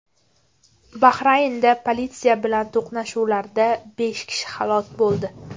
Bahraynda politsiya bilan to‘qnashuvlarda besh kishi halok bo‘ldi.